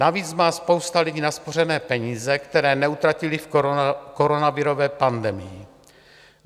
Navíc má spousta lidí naspořené peníze, které neutratili v koronavirové pandemii.